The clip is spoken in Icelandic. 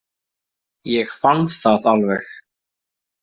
Ég fann það alveg.